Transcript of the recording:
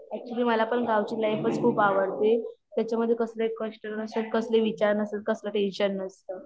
actually मला पण गावची लाईफच खूप आवडते त्याच्यामध्ये कसले कष्ट नसतं कसले विचार नसता कसलं टेन्शन नसतं